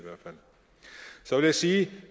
så vil jeg sige